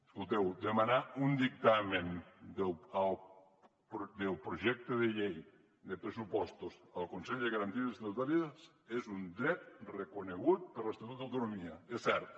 escolteu demanar un dictamen del projecte de llei de pressupostos al consell de garanties estatutàries és un dret reconegut per l’estatut d’autonomia és cert